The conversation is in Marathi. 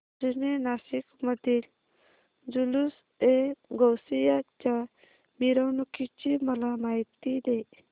जुने नाशिक मधील जुलूसएगौसिया च्या मिरवणूकीची मला माहिती दे